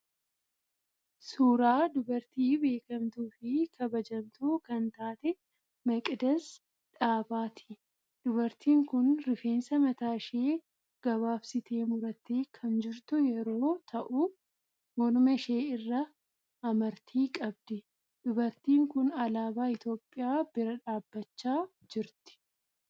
Suuraa dubartii beekamtuu fi kabajamtuu kan taate Maqidas Dhaabaati. Dubartiin kun rifeensa mataa ishee gabaabsitee murattee kan jirtu yeroo ta'u morma ishee irraa amartii qabdi. Dubartiin kun alaabaa Itiyoopiyaa bira dhaabbachaa jirti.